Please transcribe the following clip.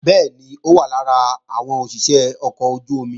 Bẹ́ẹ̀ni, ó wà lára àwọn òṣìṣé ọkọ̀ ojú-omi